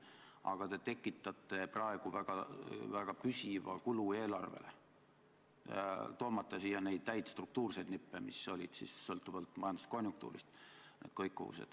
Aga te tekitate praegu väga püsivad eelarvekulud.